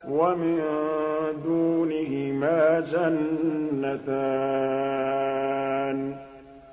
وَمِن دُونِهِمَا جَنَّتَانِ